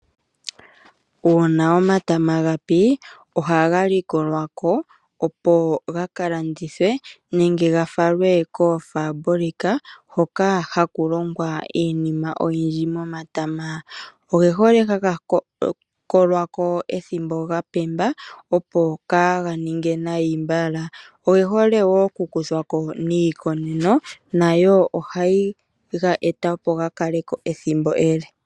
Uuna omatama ga pi ohaga likolwa ko opo gaka landithwe nenge ga falwe koofabulika hoka haku longwa iinima oyindji momatama. Ogehole haga kolwa ko ethimbo ga pemba opo kaga ninge nai mbala, oge hole noku kuthwa koniikoneno nayo ohayi ga eta opo ga kale ko ethimbo ele